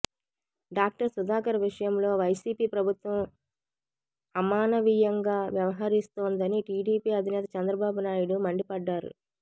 doctor Sudhakar విషయంలో YCP ప్రభుత్వం అమానవీయంగా వ్యవహరిస్తోందని టీడీపీ అధినేత చంద్రబాబు నాయుడు మండిపడ్డారు